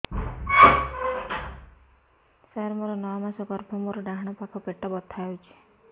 ସାର ମୋର ନଅ ମାସ ଗର୍ଭ ମୋର ଡାହାଣ ପାଖ ପେଟ ବଥା ହେଉଛି